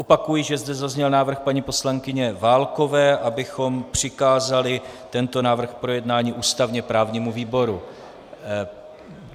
Opakuji, že zde zazněl návrh paní poslankyně Válkové, abychom přikázali tento návrh k projednání ústavně právnímu výboru.